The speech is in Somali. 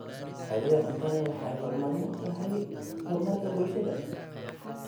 Badbaadada cuntadu waxay muhiim u tahay horumarka bulshada.